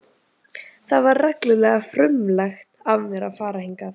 Það var reglulega frumlegt af mér að fara hingað.